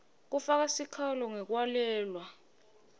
kufaka sikhalo ngekwalelwa